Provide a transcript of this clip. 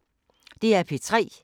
DR P3